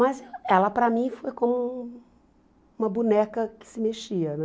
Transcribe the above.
Mas ela, para mim, foi como uma boneca que se mexia, né?